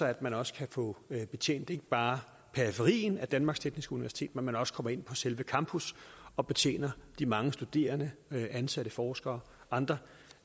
at man også kan få betjent ikke bare periferien af danmarks tekniske universitet men at man også kommer ind på selve campus og betjener de mange studerende ansatte forskere og andre